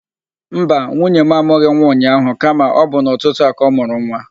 Mba, nwunye mụ amụghị nwa ụnyaahụ kama ọ bụ n'ụtụtụ a ka ọ mụrụ nwa.